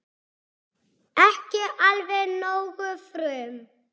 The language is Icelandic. Ekki alveg nógu frum